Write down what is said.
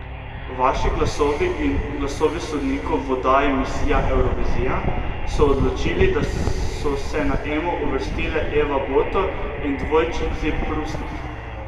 Vaši glasovi in glasovi sodnikov v oddaji Misija Evrovizija so odločili, da so se na Emo uvrstile Eva Boto in dvojčici Prusnik.